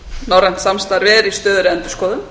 norrænt samstarf er í stöðugri endurskoðun